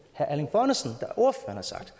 herre erling bonnesen har sagt